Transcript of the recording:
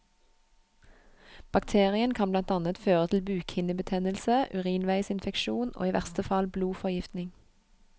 Bakterien kan blant annet føre til bukhinnebetennelse, urinveisinfeksjon og i verste fall blodforgiftning.